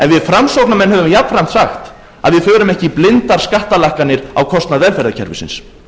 við framsóknarmenn höfum jafnframt sagt að við förum ekki í blindar skattalækkanir á kostnað velferðarkerfisins